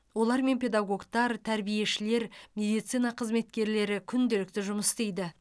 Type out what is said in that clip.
олармен педагогтар тәрбиешілер медицина қызметкерлері күнделікті жұмыс істейді